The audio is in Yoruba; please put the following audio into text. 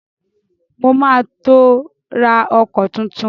Mo ma tó ra ọkọ̀ tuntun